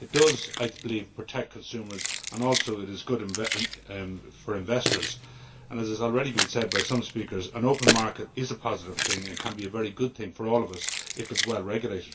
I believe it not only protects consumers but is also good for investors. As some speakers have already said, an open market is a positive thing and can be a very good thing for all of us if it is well regulated.